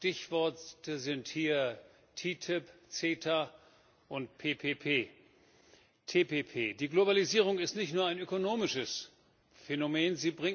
Stichworte sind hier TTIP, CETA und TPP. Die Globalisierung ist nicht nur ein ökonomisches Phänomen.